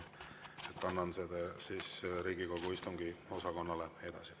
Annan selle Riigikogu istungiosakonnale edasi.